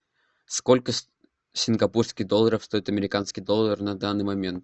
сколько сингапурских долларов стоит американский доллар на данный момент